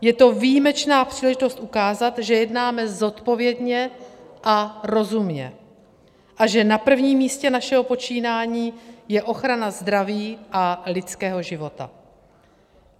Je to výjimečná příležitost ukázat, že jednáme zodpovědně a rozumně a že na prvním místě našeho počínání je ochrana zdraví a lidského života.